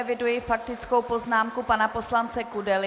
Eviduji faktickou poznámku pana poslance Kudely.